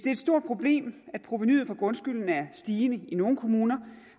er et stort problem at provenuet for grundskylden er stigende i nogle kommuner